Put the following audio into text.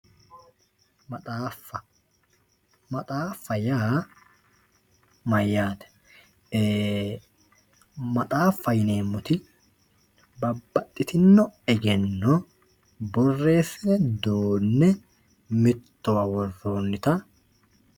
Maxxaaffa, maxxaaffa yaa mayyate, maxxaaffa yineemoti babaxitino eggeno borreessine duu'ne mitowa woronita